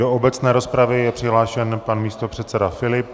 Do obecné rozpravy je přihlášen pan místopředseda Filip.